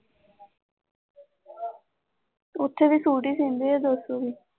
ਉੱਥੇ ਵੀ ਸੂਟ ਹੀ ਸਿਉਂਦੇ ਹੈ ਦੋ ਸੌ ਦੀ